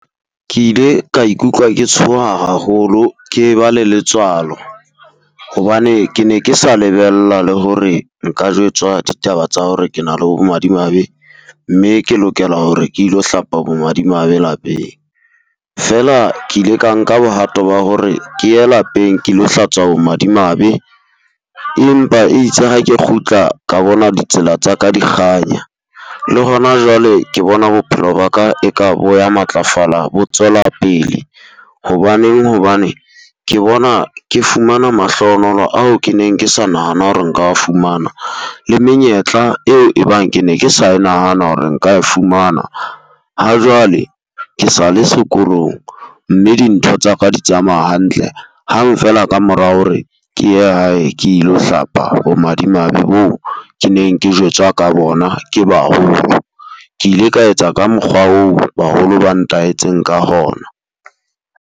Ke ile ka ikutlwa ke tshoha haholo ke ba le letswalo, hobane ke ne ke sa lebella le hore nka jwetswa ditaba tsa hore ke na le bomadimabe mme ke lokela hore ke ilo hlapa bo madimabe lapeng. Feela ke ile ka nka bohato ba hore ke ye lapeng ke tlo hlatswa bomadimabe. Empa itse ha ke kgutla ka bona ditsela tsa ka di kganya, le hona jwale ke bona bophelo ba ka e ka bo ya matlafala bo tswela pele. Hobaneng Hobane ke bona ke fumana mahlohonolo ao ke neng ke sa nahana hore nka fumana le menyetla eo e bang ke ne ke sa e nahana hore nka e fumana. Ha jwale, ke sale sekolong mme dintho tsaka di tsamaya hantle hang feela ka mora hore ke ye hae ke lo hlapa bomadimabe bo ke neng ke jwetswa ka bona ke baholo. Ke ile ka etsa ka mokgwa oo baholo ba ntaetseng ka hona.